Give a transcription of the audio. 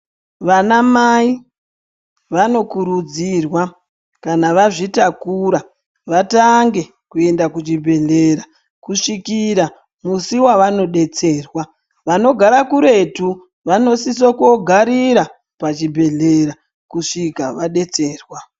Vanamai vanokurudzirwa kana vazvitakura, vatange kuyenda kuchibhedhlera, kusvikira musi wavanodetserwa. Vanogara kuretu, vanosiso kogarira pachibhedhlera kusvika vadetserwa.